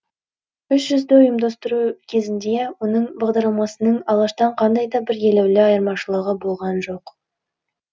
үш жүзді ұйымдастыру кезінде оның бағдарламасының алаштан қандай да бір елеулі айырмашылығы болған жоқ